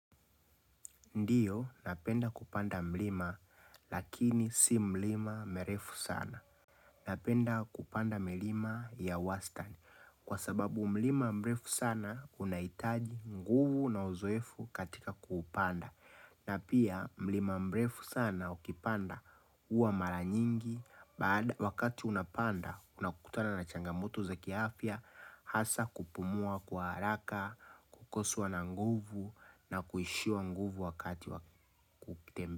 Ndiyo, napenda kupanda mlima, lakini si mlima merefu sana. Napenda kupanda milima ya wastani kwa sababu mlima mrefu sana, unahitaji nguvu na uzoefu katika kupanda. Na pia, mlima mrefu sana, ukipanda huwa mara nyingi. Wakati unapanda, unakutana na changamoto za kiafya, hasa kupumua kwa haraka, kukoswa na nguvu na kuishiwa nguvu wakati wakutembe a.